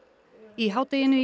í hádeginu í